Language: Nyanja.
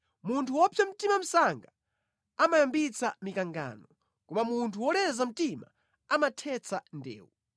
Munthu wopsa mtima msanga amayambitsa mikangano, koma munthu woleza mtima amathetsa ndewu.